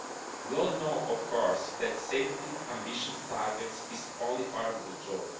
We all know, of course, that setting ambitious targets is only part of the job.